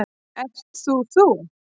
Ert þú þú?